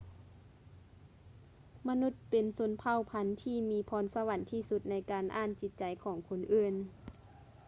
ມະນຸດເປັນເຜົ່າພັນທີ່ມີພອນສະຫວັນທີ່ສຸດໃນການອ່ານຈິດໃຈຂອງຄົນອື່ນ